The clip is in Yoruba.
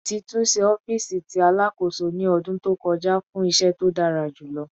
Titunṣe ọfiisi ti Alakoso ni ọdun to kọja fun iṣẹ to dara pẹlu